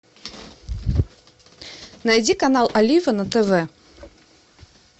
найди канал олива на тв